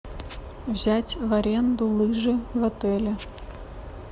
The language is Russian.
взять в аренду лыжи в отеле